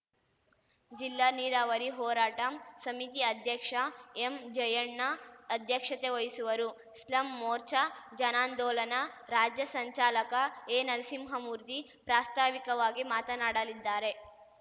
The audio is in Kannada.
ಜಿಲ್ಲಾ ನೀರಾವರಿ ಹೋರಾಟ ಸಮಿತಿ ಅಧ್ಯಕ್ಷ ಎಂ ಜಯಣ್ಣ ಅಧ್ಯಕ್ಷತೆ ವಹಿಸುವರು ಸ್ಲಂ ಮೋರ್ಚಾ ಜನಾಂದೋಲನ ರಾಜ್ಯ ಸಂಚಾಲಕ ಎನರಸಿಂಹಮೂರ್ತಿ ಪ್ರಾಸ್ತಾವಿಕವಾಗಿ ಮಾತನಾಡಲಿದ್ದಾರೆ